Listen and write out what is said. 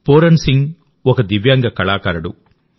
Pooran Singh ఒక దివ్యాంగ కళాకారుడు